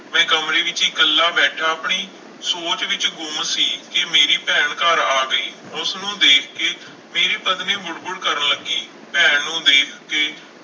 ਮੈਂ ਕਮਰੇ ਵਿੱਚ ਇਕੱਲਾ ਬੈਠਾ ਆਪਣੀ ਸੋਚ ਵਿੱਚ ਗੁੰਮ ਸੀ ਕਿ ਮੇਰੀ ਭੈਣ ਘਰ ਆ ਗਈ, ਉਸਨੂੰ ਦੇਖ ਕੇ ਮੇਰੀ ਪਤਨੀ ਬੁੜਬੁੜ ਕਰਨ ਲੱਗੀ, ਭੈਣ ਨੂੰ ਦੇਖ ਕੇ